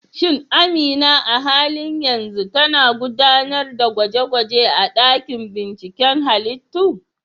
Shin Amina a halin yanzu tana gudanar da gwaje-gwaje a dakin binciken halittu?